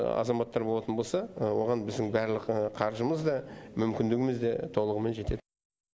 азаматтар болатын болса оған біздің барлық қаржымыз да мүмкіндігіміз де толығымен жетеді